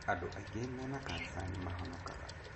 Andũ aingĩ mena cancer nĩ mahonokaga.